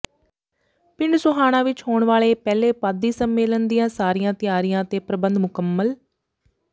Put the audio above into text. ਪਿੰਡ ਸੋਹਾਣਾ ਵਿੱਚ ਹੋਣ ਵਾਲੇ ਪਹਿਲੇ ਪੁਆਧੀ ਸੰਮੇਲਨ ਦੀਆਂ ਸਾਰੀਆਂ ਤਿਆਰੀਆਂ ਤੇ ਪ੍ਰਬੰਧ ਮੁਕੰਮਲ